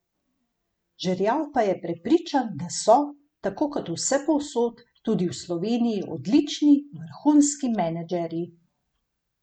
Žerjav pa je prepričan, da so, tako kot vsepovsod, tudi v Sloveniji odlični, vrhunski menedžerji.